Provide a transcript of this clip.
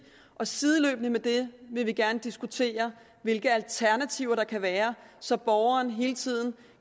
og sideløbende med det vil vi gerne diskutere hvilke alternativer der kan være så borgeren hele tiden